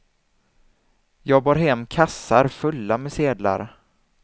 Jag bar hem kassar fulla med sedlar.